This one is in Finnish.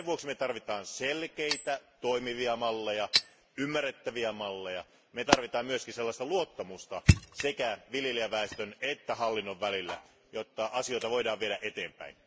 Sen vuoksi me tarvitsemme selkeitä ja toimivia malleja, ymmärrettäviä malleja. Me tarvitsemme myös luottamusta sekä viljelijäväestön että hallinnon välillä, jotta asioita voidaan viedä eteenpäin.